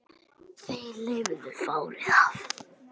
Þeir lifðu fárið af